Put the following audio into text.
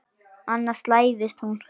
Annars slævist hún.